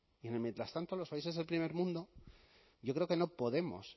y en el mientras tanto los países del primer mundo yo creo que no podemos